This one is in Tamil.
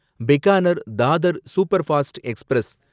Bikaner Dadar superfast express